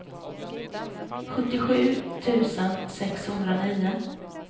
sjuttiosju tusen sexhundranio